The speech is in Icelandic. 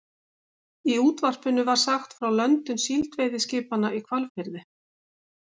Í útvarpinu var sagt frá löndun síldveiðiskipanna í Hvalfirði.